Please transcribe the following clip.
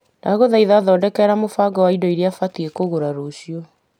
Ndagũthaitha thondeka mũbango wa indo iria batiĩ kũgũra rũciũ.